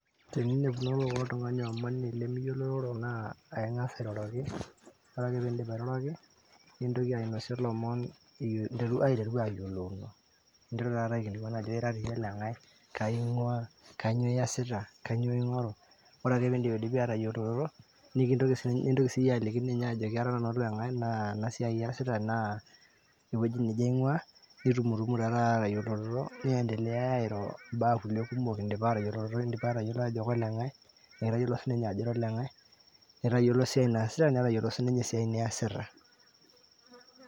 Teninepunono oltungani omoni lemiyiolororo naa aing'as airoroki, ore peindip airoroki, nintoki ainosie lomon aiteru ayiolouno, ninteru taata aikilikuan ajoki ira toi iyie oleng'ai, kaing'uaa, kainyoo iasita, kainyoo ing'oru. Oreake peeindipidipi atayoloroto, nintoki siyie aliki ninye ajoki ara nanu oleng'ai naa ena siai aasita naa ewueji neje aing'uaa nitumutumu taa tata aatayoloroto niendeleyaya airo imbaa kulie kumok indipa atayoloroto indipa atayolo ajo koleng'ai netayolo sininye ajo ira oleng'ai nitayolo siai naasita netayiolo sininye esiai niasita.